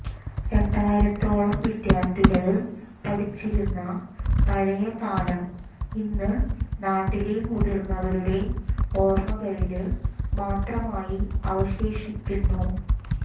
രണ്ടായിര ത്തോളം വിദ്യാര്ഥികള് പഠിച്ചിരുന്ന പഴയ കാലം ഇന്ന് നാട്ടിലെ മുതിര്ന്നവരുടെ ഓര്മകളില് മാത്രമായി അവശേഷിക്കുന്നു